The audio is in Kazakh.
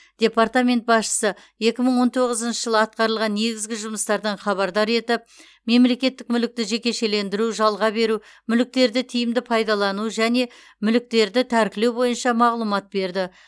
департамент басшысы екі мың он тоғызыншы жылы атқарылған негізгі жұмыстардан хабардар етіп мемлекеттік мүлікті жекешелендіру жалға беру мүліктерді тиімді пайдалану және мүліктерді тәркілеу бойынша мағлұматтар берді